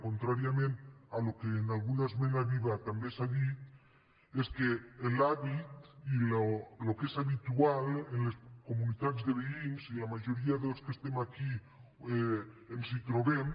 contràriament al que en alguna esmena viva també s’ha dit és que l’hàbit i el que és habitual en les comunitats de veïns i la majoria dels que estem aquí ens hi trobem